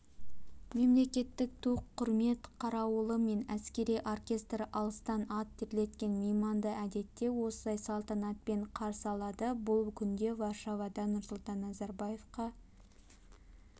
мемлекеттік ту құрмет қарауылы мен әскери оркестр алыстан ат терлеткен мейманды әдетте осылай салтанатпен қарсы алады бұл күндері варшавада нұрсұлтан назарбаевқа